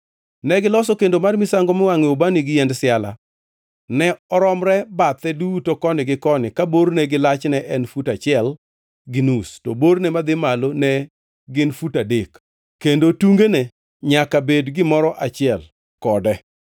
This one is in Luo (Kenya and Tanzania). Negiloso kendo mar misango miwangʼoe ubani gi yiend siala. Ne oromre bathe duto koni gi koni ka borne gi lachne en fut achiel gi nus, to borne madhi malo ne gin fut adek, kendo tungene nyaka bed gimoro achiel kode.